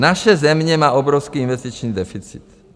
Naše země má obrovský investiční deficit.